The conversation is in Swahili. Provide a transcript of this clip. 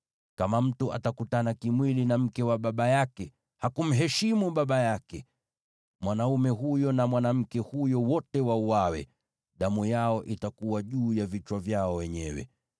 “ ‘Kama mtu atakutana kimwili na mke wa baba yake, hakumheshimu baba yake. Mwanaume huyo na mwanamke huyo wote wauawe; damu yao itakuwa juu ya vichwa vyao wenyewe.